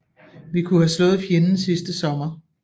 Vi kunne have slået fjenden sidste sommer